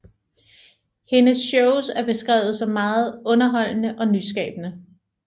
Hendes shows er beskrevet som meget underholdende og nyskabende